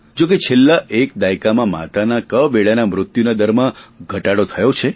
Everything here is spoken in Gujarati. જોકે છેલ્લા એક દાયકામાં માતાના કવેળાના મૃત્યુના દરમાં ઘટાડો થયો છે